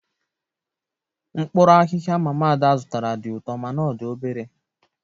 mkpuru ahihia mama ada zụtara di uto mana o di obere